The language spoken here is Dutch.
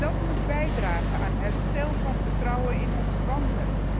Dat moet bijdragen aan herstel van het vertrouwen in onze banken.